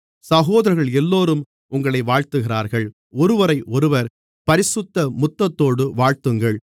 சகோதரர்களெல்லோரும் உங்களை வாழ்த்துகிறார்கள் ஒருவரையொருவர் பரிசுத்த முத்தத்தோடு வாழ்த்துங்கள்